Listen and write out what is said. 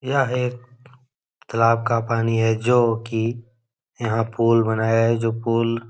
यह एक तालाब का पानी है जो कि यहाँ पूल बनाया है जो पूल --